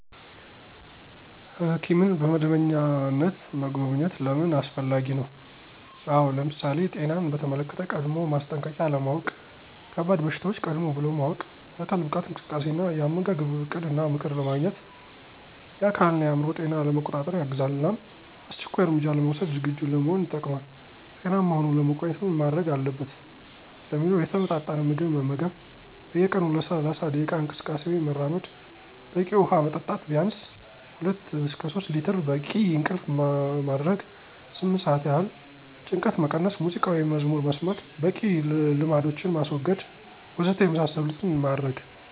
ሕኪምን በመደበኛነት መጎብኘት ለምን አስፈላጊ ነው? አው ለምሳሌ፦ ጤናን በተመለክተ ቀድሞው ማስጠንቀቂያ ለማውቅ፣ ከባድ በሽታዎች ቀድም ብሎ ማወቅ፣ የአካል ብቃት እንቅስቃሴ እና የአመጋገብ እቅድ እና ምክር ለማግኘት፣ የአካል እና የአዕምሮ ጤና ለመቆጣጠር ያግዛል እናም አስቸኳይ እርምጃ ለመውስድ ዝግጁ ለመሆን ይጠቅማል። ጤናማ ሆኖ ለመቆየት ምን ማድርግ አለበት? ለሚለው የተመጣጠነ ምግብ መመገብ፣ በየ ቀኑ ለ30 ደቂቃ እንቅስቃሴ ወይም መራመድ፣ በቂ ውሃ መጠጣት ቢንስ (2-3)ሊትር፣ በቂ እንቅልፍ ማደረግ (8)ስአት ይህል፣ ጭንቀትን መቀነስ(ሙዚቃ ወይም መዝሙር መስማት) ፣በቂ ልማዶችን ማስወገድ..... ወዘተ የመሳሰሉትን ማድረግ።